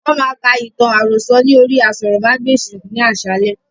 Wọn má ka ìtàn àròsọ̀ ni orí aṣórómagbesìn ni àsálẹ́